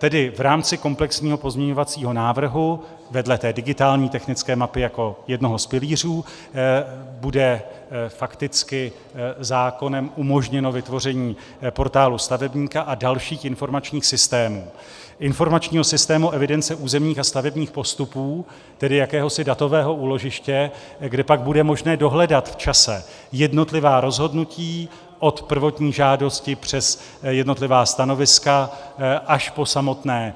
Tedy v rámci komplexního pozměňovacího návrhu, vedle té digitální technické mapy jako jednoho z pilířů, bude fakticky zákonem umožněno vytvoření portálu stavebníka a dalších informačních systémů - informačního systému evidence územních a stavebních postupů, tedy jakéhosi datového úložiště, kde pak bude možné dohledat v čase jednotlivá rozhodnutí od prvotní žádosti přes jednotlivá stanoviska až po samotné